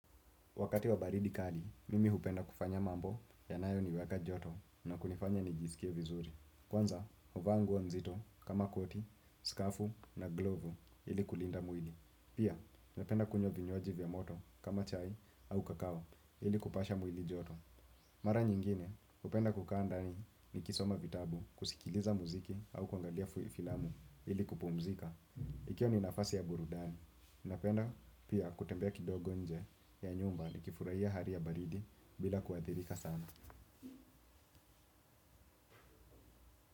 Wakati wa baridi kali, mimi hupenda kufanya mambo yanayo niweka joto na kunifanya nijiskie vizuri. Kwanza, huvaa nguo nzito kama koti, skafu na glovu ili kulinda mwili. Pia, napenda kunywa vinywaji vya moto kama chai au kakao ili kupasha mwili joto. Mara nyingine, hupenda kukaa ndani nikisoma vitabu, kusikiliza muziki au kuangalia filamu ili kupumzika. Ikiwa ni nafasi ya burudani napenda pia kutembea kidogo nje ya nyumba ni kifurahia hali ya baridi bila kuadhirika sana.